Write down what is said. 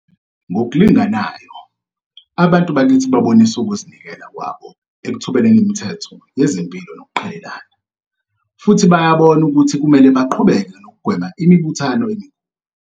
Ngokulinganayo, abantu bakithi babonise ukuzi nikela kwabo ekuthobeleni imithetho yezempilo nokuqhelelana. Futhi bayabona ukuthi kumele baqhubeke nokugwema imibuthano.